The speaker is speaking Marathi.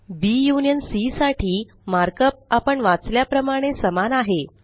बी युनियन सी साठी मार्कप आपण वाचल्या प्रमाणे समान आहे